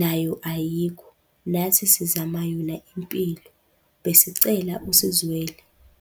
nayo ayikho, nathi sizama yona impilo. Besicela usizwele.